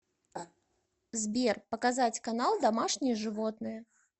сбер показать канал домашние животные